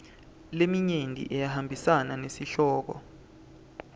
leminyenti iyahambisana nesihloko